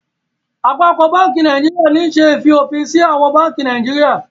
Àpapọ bánkì Nàìjíríà ní ṣe í fiofinsi àwọn bánkì Naijiria